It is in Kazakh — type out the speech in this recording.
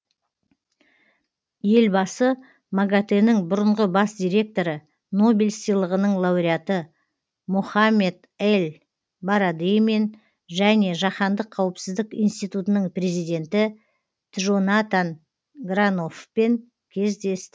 елбасы магатэ нің бұрынғы бас директоры нобель сыйлығының лауреаты мохаммед эль барадеймен және жаһандық қауіпсіздік институтының президенті джонатан граноффпен кездесті